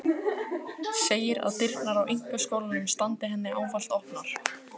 Segir að dyrnar á einkaskólanum standi henni ávallt opnar.